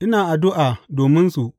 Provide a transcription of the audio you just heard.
Ina addu’a dominsu.